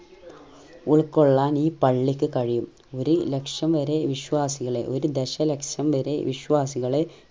ഉൾകൊള്ളാൻ ഈ പള്ളിക്ക് കഴിയും ഒരു ലക്ഷം വരെ വിശ്യാസികളെ ഒരു ദശ ലക്ഷം വരെ വിശ്വാസികളെ